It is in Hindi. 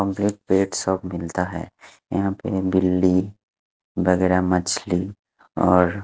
कम्पलीट पेट सब मिलता है यहाँ पे बिल्ली वगेरा मछली और--